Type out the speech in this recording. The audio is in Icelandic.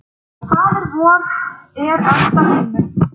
Faðir vor, er ert á himnum.